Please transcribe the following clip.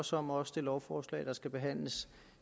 også om også det lovforslag der skal behandles